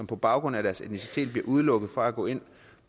på baggrund af deres etnicitet bliver udelukket fra at gå ind